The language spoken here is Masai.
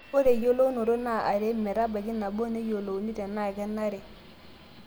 Ore eyolounoto naa are metabaiki nabo neyiolouni tenaa kenare